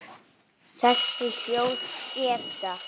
Þessi hljóð geta